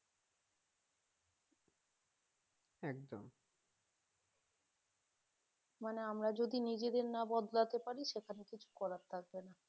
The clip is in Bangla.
মানে আমরা যদি নিজেদের না বদলাতে পারি সেখানে কিছু করার থাকবে না